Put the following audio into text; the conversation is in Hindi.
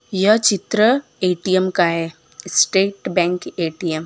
यह चित्र ए_टी_एम का है स्टेट बैंक ए_टी_एम ।